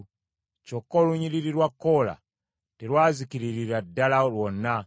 Kyokka olunyiriri lwa Koola terwazikiririra ddala lwonna.